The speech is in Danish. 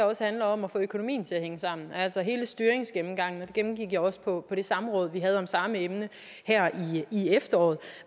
også om at få økonomien til at hænge sammen altså hele styringsgennemgangen det gennemgik jeg også på det samråd vi havde om samme emne her i efteråret